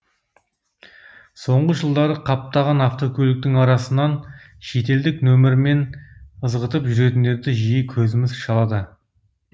соңғы жылдары қаптаған автокөліктің арасынан шетелдік нөмірмен ызғытып жүретіндерді жиі көзіміз шалады